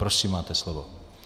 Prosím, máte slovo.